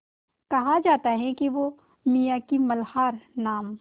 कहा जाता है कि वो मियाँ की मल्हार नाम